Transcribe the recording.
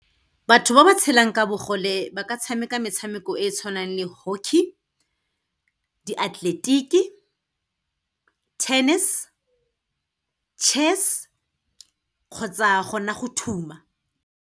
Batho ba ba tshelang ka bogole ba ka tshameka metshameko e e tshwanang le hockey, diatleletiki, tennis, chess kgotsa gona go thuma.